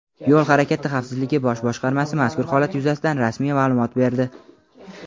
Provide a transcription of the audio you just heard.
Yo‘l harakati xavfsizligi bosh boshqarmasi mazkur holat yuzasidan rasmiy ma’lumot berdi.